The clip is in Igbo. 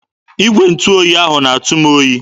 Igwe ntụ oyi a na-atụ m oyi.